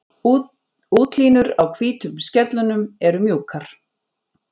Útlínur á hvítu skellunum eru mjúkar.